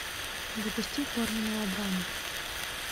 запусти порно мелодрама